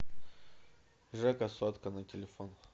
жека сотка на телефон